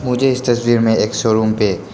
मुझे इस तस्वीर में एक शोरूम पे--